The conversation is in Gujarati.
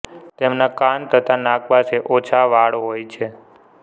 તેમના કાન તથા નાક પાસે ઓછા વાળ હોય છે